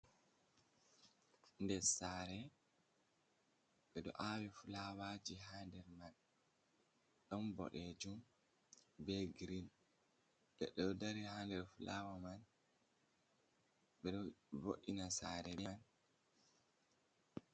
Nɗer sare. Ɓe ɗo awi fulawaji ha nɗer man. Ɗon Ɓoɗejum, ɓe Girin. Leɗɗee ɗo nɗari ha nɗer fulawa man. Ɓe ɗo voɗina sare ɓe man.